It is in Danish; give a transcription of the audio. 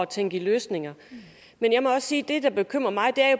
tænke i løsninger men jeg må også sige at det der bekymrer mig